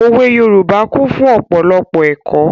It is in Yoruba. Òwe Yorùbá kún fún ọ̀pọ̀lọpọ̀ ẹ̀kọ́.